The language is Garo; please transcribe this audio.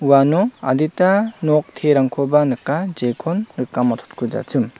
uano adita nok terangkoba nika jekon rika matchotkujachim.